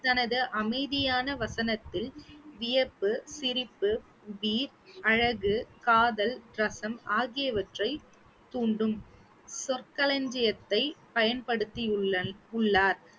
தனது அமைதியான வசனத்தில் வியப்பு, சிரிப்பு அழகு, காதல், ரசம் ஆகியவற்றை தூண்டும் சொற்களஞ்சியத்தை பயன்படுத்தியுள்ளன்~ உள்ளார்